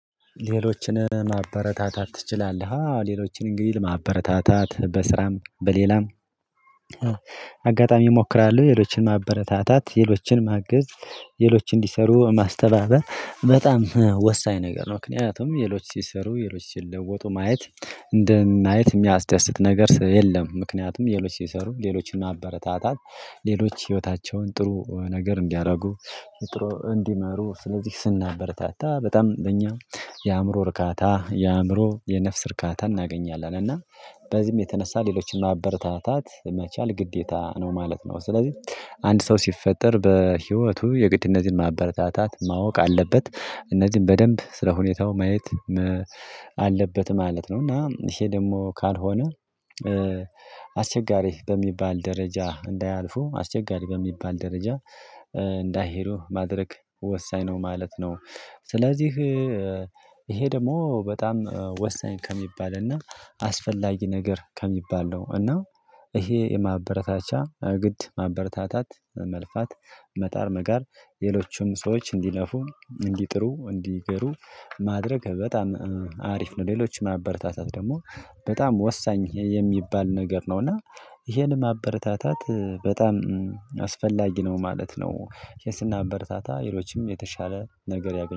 ሌሎችንን ማበረታታት ትችላለህ አ? ሌሎችን እንግዲህ ለማበረታታት በስራም በሌላም አጋጣሚ እሞክራለሁ ሌሎችን ማበረታታት ሌሎችን ማገዝ ሌሎች እንዲሰሩ ማስተባበር በጣም ወሳኝ ነገር ነው ምክንያቱም ሌሎች ሲሰሩ ሌሎች ሲለወጡ ማየት እንደ ማየት የሚያስደስት ነገር የለም ምክንያቱም ሌሎች ሲሰሩ ሌሎችን ማበረታታት ሌሎች ህይወታቸውን ጥሩ ነገር እንዲያደርጉ ጥሩ እንዲመሩ ስለዚህ ስናበርታታ በጣም እንደኛ የአእምሮ እርካታ የአእምሮ የነፍስ ርካታ እናገኛለን እና በዚህም የተነሳ ሌሎችን ማበረታታት መቻል ግዴታ ነው ማለት ነው ስለዚህ አንድ ሰው ሲፈጠር በህይወቱ የግድነትን ማበረታታት ማወቅ አለበት እነዚህን በደንብ ስለ ሁኔታው ማየት አለበት ማለት ነው እና ይሄ ደግሞ ካልሆነ አስቸጋሪ በሚባል ደረጃ እንዳያልፉ አስቸጋሪ በሚባል ደረጃ እንዳይሄዱ ማድረግ ወሳኝ ነው ማለት ነው ስለዚህ ይሄ ደግሞ በጣም ወሳኝ ከሚባል እና አስፈላጊ ነገር ከሚባል ነው እና ይሄ የማበረታቻ ግድ ማበረታታት መልፋት መጣር መጋር ሌሎቹም ሰዎች እንዲለፉ እንዲጥሩ እንዲግሩ ማድረግ በጣም አሪፍ ነው ሌሎችን ማበረታታት ደግሞ በጣም ወሳኝ የሚባል ነገር ነውና ይሄንን ማበረታታት በጣም አስፈላጊ ነው ማለት ነው ስናበረታታ ሌሎችም የተሻለ ነገር ያገኙ